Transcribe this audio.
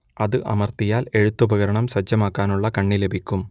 അത് അമർത്തിയാൽ എഴുത്തുപകരണം സജ്ജമാക്കുവാനുള്ള കണ്ണി ലഭിക്കും